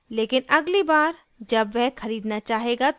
लेकिन अगली बार जब वह खरीदना चाहेगा तो वापस आएगा